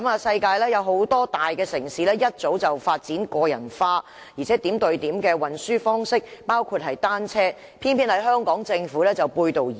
世界很多大城市早已發展個人化及點對點的運輸方式，包括單車，偏偏香港政府卻背道而馳。